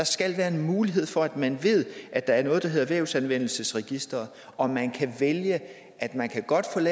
skal være en mulighed for at man ved at der er noget der hedder vævsanvendelsesregister og at man kan vælge at man godt kan